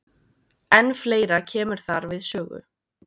En fleira kemur þar við sögu.